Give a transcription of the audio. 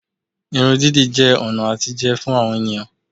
Irun dídì jẹ́ ọ̀nà àtijẹ fún àwọn ènìyàn